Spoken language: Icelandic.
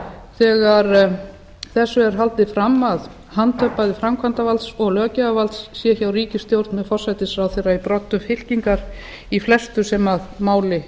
þegar þessu er haldið fram að hand bæði framkvæmdarvalds og löggjafarvalds sé hjá ríkisstjórn með forsætisráðherra í broddi fylkingar í flestu sem máli